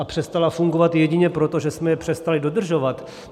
A přestala fungovat jedině proto, že jsme je přestali dodržovat.